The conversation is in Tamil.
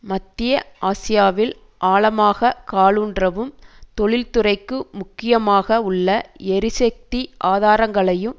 மத்திய ஆசியாவில் ஆழமாக காலூன்றவும் தொழிற்துறைக்கு முக்கியமாக உள்ள எரிசக்தி ஆதாரங்களையும்